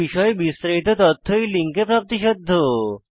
এই বিষয়ে বিস্তারিত তথ্য এই লিঙ্কে প্রাপ্তিসাধ্য